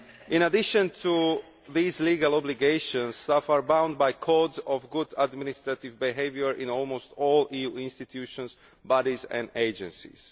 In addition to these legal obligations, staff are bound by codes of good administrative behaviour in almost all EU institutions, bodies and agencies.